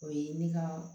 O ye ne ka